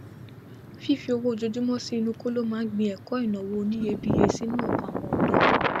fífí owó ojojúmọ sí inú kóló máa ń gbin ẹkọ ìnáwó oníyebíye sínú ọkàn àwọn ọdọ